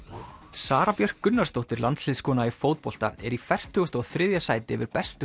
Sara Björk Gunnarsdóttir landsliðskona í fótbolta er í fertugasta og þriðja sæti yfir bestu